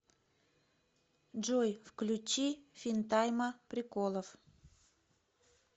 джой включи финтайма приколов